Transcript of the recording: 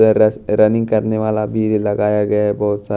र running करने वाला भी लगाया गया है बहोत सा--